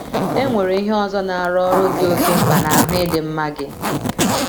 E nwere ihe ọzọ na - arụ ọrụ dị oké mkpa n’ahụ́ ịdị mma gị.